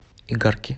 игарки